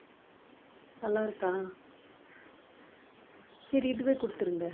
நல்லாருக்கா சரி இதுவே கொடுத்திருங்க